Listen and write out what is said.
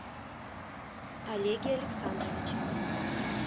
олеге александровиче